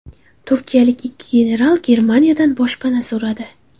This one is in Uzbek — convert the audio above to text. Turkiyalik ikki general Germaniyadan boshpana so‘radi.